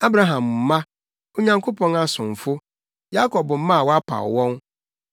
Abraham mma, Onyankopɔn asomfo, Yakob mma a wapaw wɔn.